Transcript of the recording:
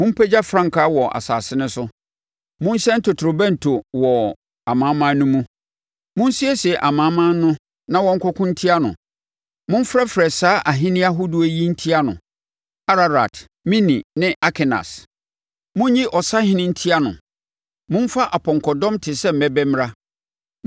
“Mompagya frankaa wɔ asase no so! Monhyɛn totorobɛnto no wɔ amanaman no mu! Monsiesie amanaman no ma wɔnkɔko ntia no; Momfrɛfrɛ saa ahennie ahodoɔ yi ntia no: Ararat, Mini ne Askenas. Monnyi ɔsahene ntia no; momfa apɔnkɔdɔm te sɛ mmɛbɛ mmra.